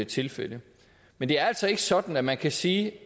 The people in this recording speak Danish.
tilfælde men det er altså ikke sådan at man kan sige